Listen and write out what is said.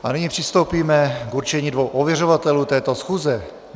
A nyní přistoupíme k určení dvou ověřovatelů této schůze.